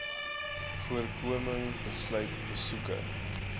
voorkoming sluit besoeke